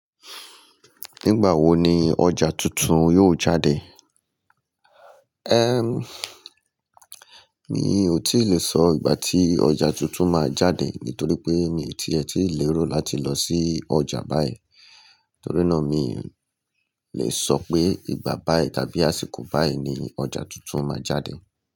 Nígbà wo ni ọjà tuntun yóò jáde? Éem mi ò tí lè sọ ìgbà tí ọjà tuntun máa jáde nítorí pé mi ti ẹ̀ ti lérò láti lọ sí ọjà báyìí. Torí náà mi le sọ pé ìgbà báyìí tàbí àsìkò báyìí ni ọjà tuntun máa jáde.